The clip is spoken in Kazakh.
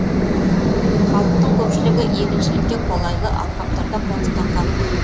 халықтың көпшілігі егіншілікке қолайлы алқаптарда қоныстанған